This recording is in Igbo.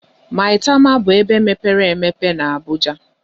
Maitama bụ ebe mepere emepe na Abuja.